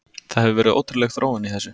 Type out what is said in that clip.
Það hefur verið ótrúleg þróun í þessu.